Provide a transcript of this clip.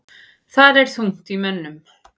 Þar er þungt í mönnum.